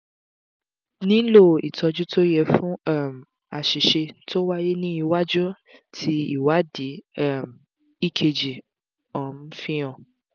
nilo ìtọ́jú tó yẹ fún um àṣìṣe tó wáyé ní iwájú ti ìwádìí um ekg um fi han